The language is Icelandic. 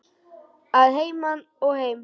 Að heiman og heim.